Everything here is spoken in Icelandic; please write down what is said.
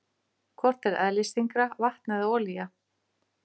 Hvort er eðlisþyngra, vatn eða olía?